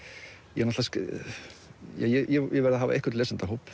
ég meina ég verð að hafa einhvern lesendahóp